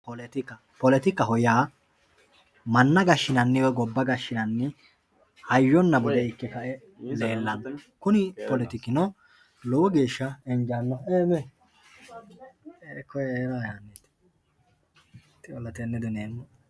Politika politikaho yaa manna gashinani woyi gobba gashinani hayyona bude ike kae leelano kuni politikino lowo geesha injanoha